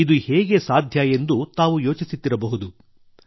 ಇದು ಹೇಗೆ ಸಾಧ್ಯ ಎಂದು ತಾವು ಯೋಚಿಸುತ್ತಿರಬಹುದು